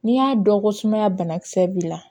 N'i y'a dɔn ko sumaya banakisɛ b'i la